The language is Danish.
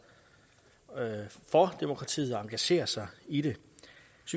for demokratiet og engagere sig i det